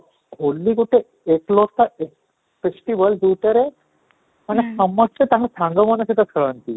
ହୋଲି ଗୋଟେ festival ଯଉଥିରେ ମାନେ ସମସ୍ତେ ତାଙ୍କ ସାଙ୍ଗ ମାନଙ୍କ ସହିତ ଖେଳନ୍ତି